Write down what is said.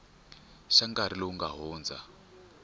xa nkarhi lowu nga hundza